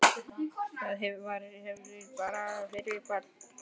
Það var ekki lítið erfiði fyrir barn.